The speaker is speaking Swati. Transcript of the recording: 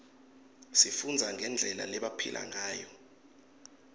sifundza ngendlela lebebaphila ngayo